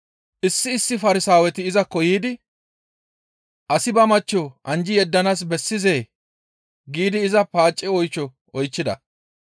Issi issi Farsaaweti izakko yiidi, «Asi ba machcho anjji yeddanaas bessizee?» giidi iza paace oysho oychchida.